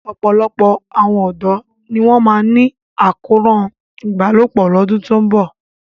Ọ̀pọ̀lọpọ̀ àwọn ọ̀dọ́ ni wọ́n máa ní àkóràn ìbálòpọ̀ lọ́dún tó ń bọ̀.